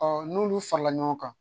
n'olu farala ɲɔgɔn kan